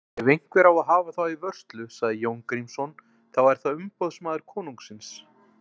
Ef einhver á að hafa þá í vörslu, sagði Jón Grímsson,-þá er það umboðsmaður konungsins.